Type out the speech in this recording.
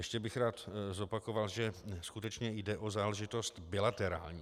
Ještě bych rád zopakoval, že skutečně jde o záležitost bilaterární.